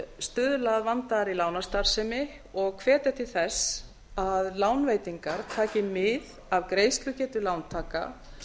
stuðla að vandaðri lánastarfsemi og hvetja til þess að lánveitingar taki mið af greiðslugetu lántaka